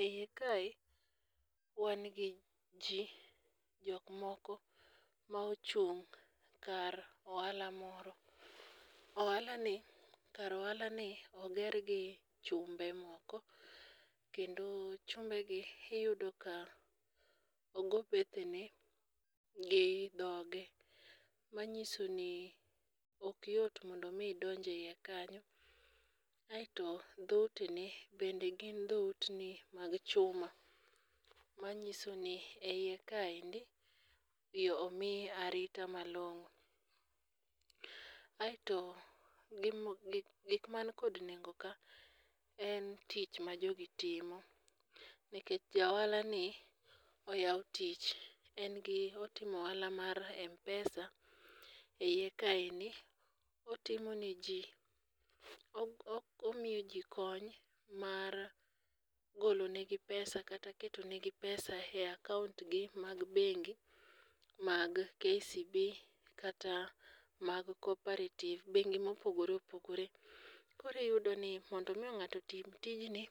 E iye kae wan gi ji jokmoko ma ochung' kar ohala moro. Kar ohalani oger gi chumbe moko kendo chumbegi iyudo ka ogo bethene gi dhoge manyiso ni okyot mondo omi idonj e iye kanyo, aeto dhoutene bende gin dhoutni mag chuma manyiso ni e iye kaendi yo omi arita malong'o. Aeto gikman kod nengo ka en tich ma jogi timo nkech ja ohalani oyawo tich otimo ohala mar mpesa e iye kaendi otimo ne ji omiyo ji kony mar golonegi pesa kata ketonegi pesa e akaontgi mag bengi mag kcb kata mag cooperative bengi mopogore opogore. Koro iyudo ni mondo omi ng'ato otim tijni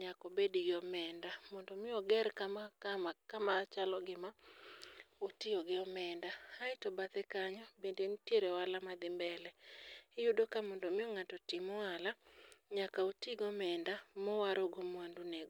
nyakobed gi omenda, mondo omi oger kama chalo kama, otiyo gi omenda aeto bathe kanyo bende nitiere ohala madhi mbele. Iyudo mondo omiyo ng'ato otim ohala, nyaka otigo omenda mowarogo mwandunego.